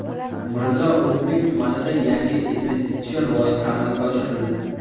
Mirzo Ulug‘bek tumanida yangi investitsion loyiha amalga oshirildi.